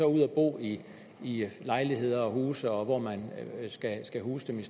ud at bo i i lejligheder og huse og hvor man kan huse dem